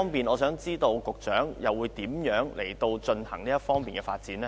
我想知道當局會如何推動這方面的發展？